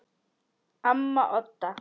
Amma Odda.